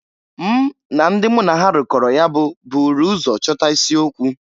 M na ndị mụ na ha rụkọrọ ya bụ buuru ụzọ chọta isi okwu.